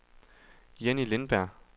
Jenny Lindberg